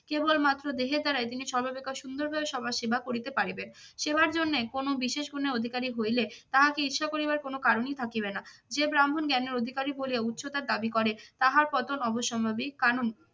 কেবলমাত্র দেহের দাঁড়ায় তিনি সর্বাপেক্ষা সুন্দরভাবে সবার সেবা করিতে পারিবেন। সেবার জন্য কোনো বিশেষ গুণের অধিকারী হইলে তাহাকে ঈর্ষা করিবার কোন কারণেই থাকিবে না। যে ব্রাহ্মণ জ্ঞানের অধিকারী বলিয়া উচ্চতার দাবি করে, তাহার পতন অবশ্যম্ভাবী কারণ